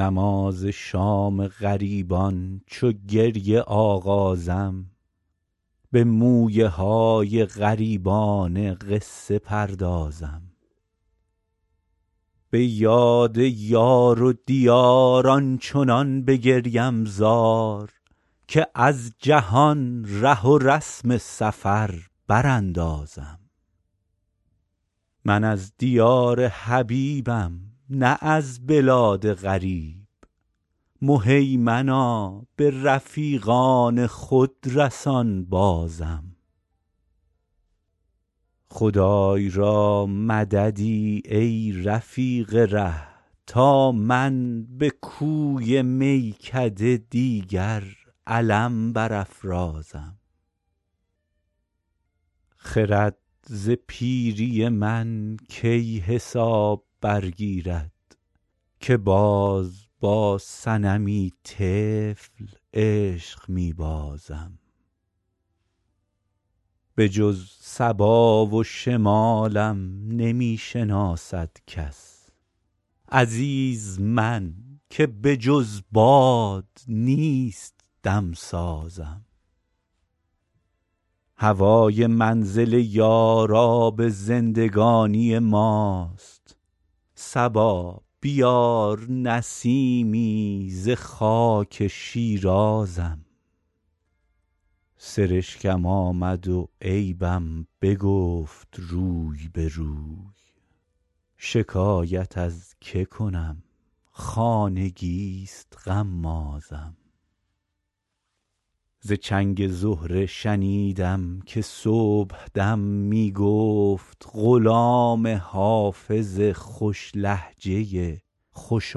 نماز شام غریبان چو گریه آغازم به مویه های غریبانه قصه پردازم به یاد یار و دیار آنچنان بگریم زار که از جهان ره و رسم سفر براندازم من از دیار حبیبم نه از بلاد غریب مهیمنا به رفیقان خود رسان بازم خدای را مددی ای رفیق ره تا من به کوی میکده دیگر علم برافرازم خرد ز پیری من کی حساب برگیرد که باز با صنمی طفل عشق می بازم بجز صبا و شمالم نمی شناسد کس عزیز من که بجز باد نیست دم سازم هوای منزل یار آب زندگانی ماست صبا بیار نسیمی ز خاک شیرازم سرشکم آمد و عیبم بگفت روی به روی شکایت از که کنم خانگی ست غمازم ز چنگ زهره شنیدم که صبح دم می گفت غلام حافظ خوش لهجه خوش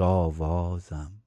آوازم